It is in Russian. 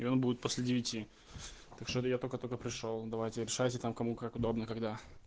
и он будет после девяти так что я только-только пришёл давайте решайте там кому как удобно когда